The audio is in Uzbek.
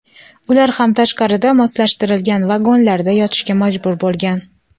Ular ham tashqarida moslashtirilgan vagonlarda yotishga majbur bo‘lgan.